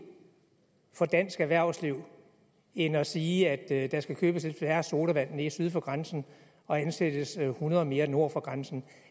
for dansk erhvervsliv end at sige at der skal købes lidt færre sodavand syd for grænsen og ansættes hundrede mere nord for grænsen